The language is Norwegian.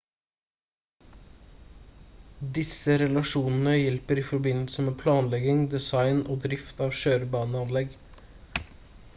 disse relasjonene hjelper i forbindelse med planlegging design og drift av kjørebaneanlegg